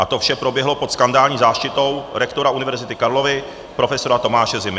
A to vše proběhlo pod skandální záštitou rektora Univerzity Karlovy profesora Tomáše Zimy.